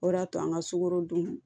O de y'a to an ka sukorodun